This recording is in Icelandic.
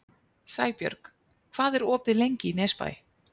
Sæbjörg, hvað er opið lengi í Nesbæ?